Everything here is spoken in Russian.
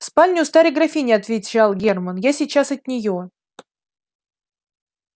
в спальне у старой графини отвечал германн я сейчас от нее